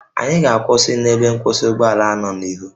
Anyị ga-akwụsị na ebe nkwụsị ụgbọ ala nọ n'ihu